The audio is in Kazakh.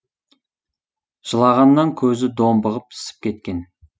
жылағаннан көзі домбығып ісіп кеткен